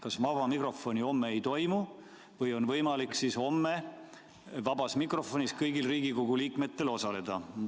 Kas vaba mikrofoni homme ei toimu või on võimalik homme vabas mikrofonis kõigil Riigikogu liikmetel osaleda?